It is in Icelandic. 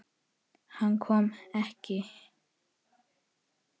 Hann kom ekki.